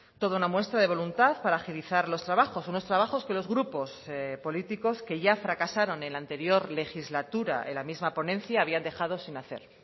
toda una muestra de voluntad para agilizar los trabajos unos trabajos que los grupos políticos que ya fracasaron en la anterior legislatura en la misma ponencia habían dejado sin hacer